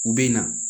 U bɛ na